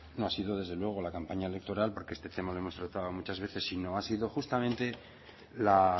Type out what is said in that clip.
no ha sido desde luego la campaña electoral porque este tema lo hemos tratado muchas veces sino ha sido justamente la